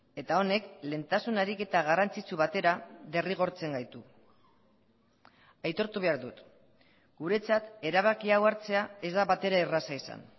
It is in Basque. eta honek lehentasun ariketa garrantzitsu batera derrigortzen gaitu aitortu behar dut guretzat erabaki hau hartzea ez da batere erraza izan